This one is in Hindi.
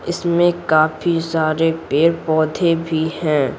इसमें काफी सारे पेड़-पौधे भी हैं।